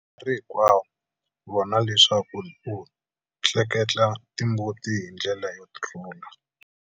Nkarhi hinkwawo vona leswaku u tleketla timbuti hi ndlela yo rhula.